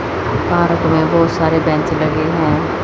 Park में बहोत सारे बेंच लगे हैं।